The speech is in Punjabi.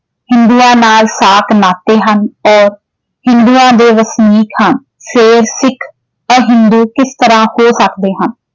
ਹਿੰਦੂਆਂ ਨਾਲ ਸਾਕ ਨਾਤੇ ਹਨ ਔਰ ਹਿੰਦੂਆਂ ਦੇ ਵਸਨੀਕ ਹਨ ਫੇਰ ਸਿੱਖ ਔਰ ਹਿੰਦੂ ਕਿਸ ਤਰ੍ਹਾਂ ਹੋ ਸਕਦੇ ਹਨ